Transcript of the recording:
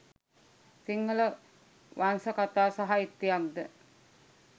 සිංහල වංශකතා සාහිත්‍යයක් ද